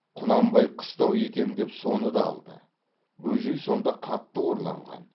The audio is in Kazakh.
құнанбай қыстау етем деп соны да алды бөжей сонда қатты қорланған